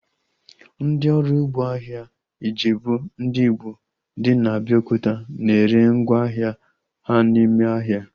Ndị ọrụ ugbo ahịa Ijebu ndị Igbo dị na Abiokuta na ere ngwá ahịa ha n'ime ahịa